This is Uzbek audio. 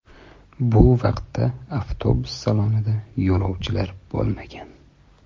Bu vaqtda avtobus salonida yo‘lovchilar bo‘lmagan.